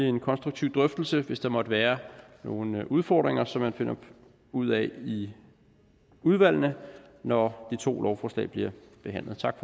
en konstruktiv drøftelse hvis der måtte være nogen udfordringer som man finder ud af i udvalgene når de to lovforslag bliver behandlet tak